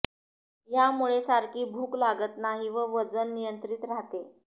यामुळे सारखी भूक लागत नाही व वजन नियंत्रित राहते